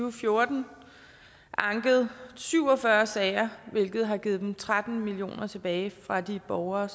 og fjorten anket syv og fyrre sager hvilket har givet dem tretten million kroner tilbage fra de borgere